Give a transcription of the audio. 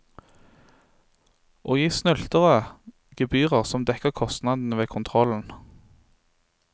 Og gi snylterne gebyrer som dekker kostnadene ved kontrollen.